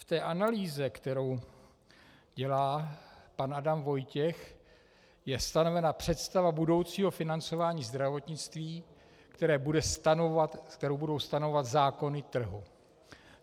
V té analýze, kterou dělá pan Adam Vojtěch, je stanovena představa budoucího financování zdravotnictví, kterou budou stanovovat zákony trhu.